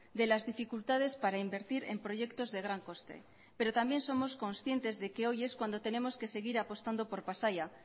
de las dificultades para invertir en proyectos de gran coste pero también somos conscientes de que hoy es cuando tenemos que seguir apostando por pasaia